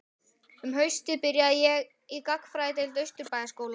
Um haustið byrjaði ég í Gagnfræðadeild Austurbæjarskóla.